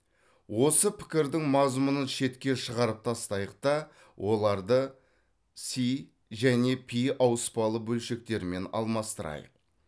осы пікірдің мазмұнын шетке шығарып тастайық та оларды с және р ауыспалы бөлшектерімен алмастырайық